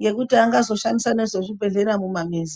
ngekuti anga zoshandise nezve muzvi bhedhlera mumamizi.